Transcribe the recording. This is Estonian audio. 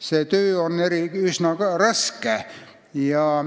See töö on üsna raske.